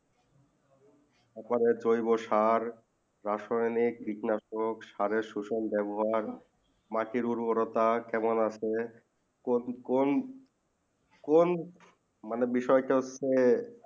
তার পরে জয়িব সার রাসানিয়েকি কীটনাশক বেবহার সোশ্যাল বেবহার মাটি উর্বরতা কেমন আছে কোন কোন মানে বিষয়ে তা হচ্ছেই